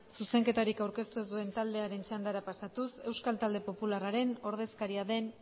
zuzenketari aurkeztu ez duen taldearen txandara pasatuz euskal talde popularraren ordezkaria den